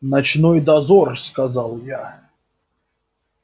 ночной дозор сказал я